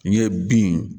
N ye bin